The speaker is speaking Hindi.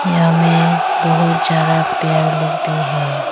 यहां में बहुत ज्यादा पेड़ लोग भी है।